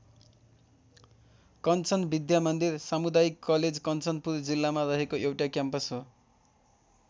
कन्चन विद्यामन्दिर सामुदायिक कलेज कञ्चनपुर जिल्लामा रहेको एउटा क्याम्पस हो।